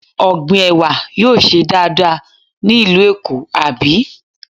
Ọ̀gbìn Ẹ̀wà yóò ṣe dáadáa ní ìlú Èkó, àbí?